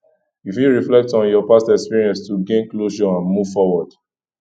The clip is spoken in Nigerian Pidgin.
you fit reflect on your past experience to gain closure and move forward